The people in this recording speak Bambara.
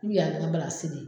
U kun y'a kɛ n ka de ye